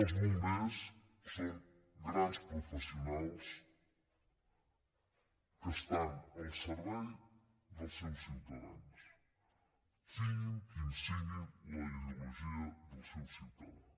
els bombers són grans professionals que estan al servei dels seus ciutadans sigui quina sigui la ideologia del ciutadà